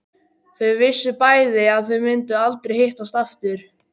Þau vissu bæði að þau myndu aldrei hittast aftur.